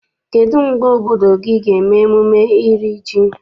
Kedụ mgbe obodo gị ga eme emume iri ji?